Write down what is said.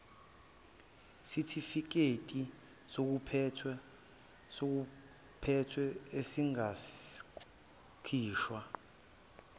sitifiketi sokuphetha esingakhishwa